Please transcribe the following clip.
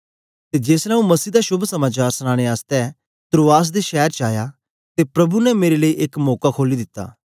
ते जेसलै आंऊँ मसीह दा शोभ समाचार सनाने आसतै त्रोआस दे शैर च आया ते प्रभु ने मेरे लेई एक मौका खोली दित्ता